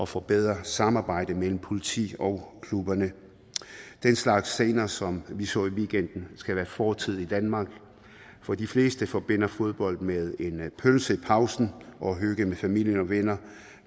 forbedre samarbejdet mellem politi og klubber den slags scener som vi så i weekenden skal være fortid i danmark for de fleste forbinder fodbold med en pølse i pausen og hygge med familie og venner